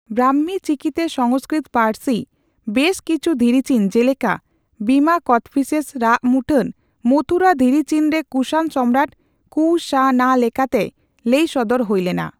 ᱵᱨᱟᱠᱷᱢᱤ ᱪᱤᱠᱤᱛᱮ ᱥᱚᱝᱥᱠᱨᱤᱛᱚ ᱯᱟᱹᱨᱥᱤ ᱵᱮᱥ ᱠᱤᱪᱷᱩ ᱫᱷᱤᱨᱤ ᱪᱤᱱ, ᱡᱮᱞᱮᱠᱟ ᱵᱤᱢᱟ ᱠᱚᱫᱯᱷᱤᱥᱮᱥᱼ ᱨᱟᱜ ᱢᱩᱴᱷᱟᱹᱱ ᱢᱚᱛᱷᱩᱨᱟ ᱫᱷᱤᱨᱤᱪᱤᱱᱨᱮ ᱠᱩᱥᱟᱱ ᱥᱚᱢᱨᱟᱴ ᱠᱩᱼᱥᱟ ᱼᱱᱟ ᱞᱮᱠᱟᱛᱮᱭ ᱞᱟᱹᱭ ᱥᱚᱫᱚᱨ ᱦᱩᱭᱞᱮᱱᱟ᱾